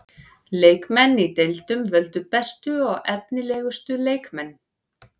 Leikmenn í deildunum völdu bestu og efnilegustu leikmenn.